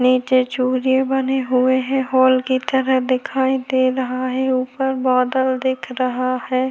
नीचे चूल्है बने हुए है होल की तरह दिखाई दे रहा है ऊपर बादल दिख रहा हैं।